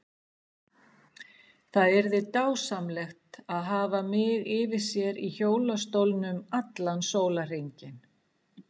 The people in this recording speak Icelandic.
Það yrði dásamlegt að hafa mig yfir sér í hjólastólnum allan sólarhringinn.